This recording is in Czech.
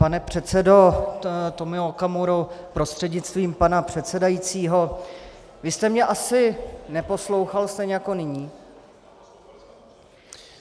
Pane předsedo Tomio Okamuro prostřednictvím pana předsedajícího, vy jste mě asi neposlouchal stejně jako nyní.